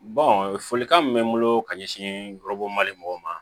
folikan min bɛ n bolo ka ɲɛsin yɔrɔ bɔ mali mɔgɔw ma